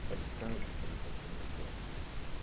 paulistano tem qualidades maravilhosas.